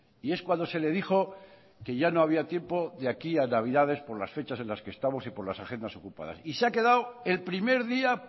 y es cuando se le dijo que ya no había tiempo de aquí a navidades por las fechas en las que estamos y por las agendas ocupadas y se ha quedado el primer día